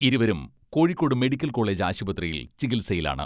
ഇരുവരും Kozhikode medical college ആശുപ്രതിയിൽ ചികിത്സയിലാണ്.